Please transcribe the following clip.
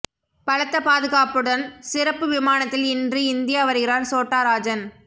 பலத்த பாதுகாப்புடன் சிறப்பு விமானத்தில் இன்று இந்தியா வருகிறார் சோட்டா ராஜன்